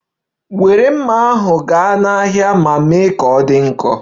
Were mma ahụ gaa n'ahịa ma mee ka ọ dị nkọ!